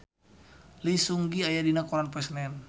Lee Seung Gi aya dina koran poe Senen